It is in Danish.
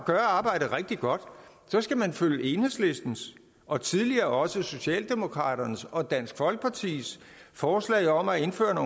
gøre arbejdet rigtig godt så skal man følge enhedslistens og tidligere også socialdemokraternes og dansk folkepartis forslag om at indføre